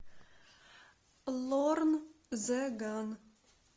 лорн зе ган